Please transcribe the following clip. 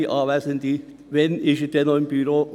Werte Anwesende, wann ist dieser Mann noch im Büro?